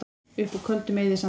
Upp úr Köldum eyðisandi